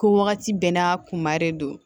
Ko wagati bɛɛ n'a kun ma de don